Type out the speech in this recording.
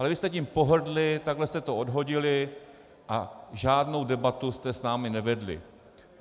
Ale vy jste tím pohrdli, takhle jste to odhodili a žádnou debatu jste s námi nevedli.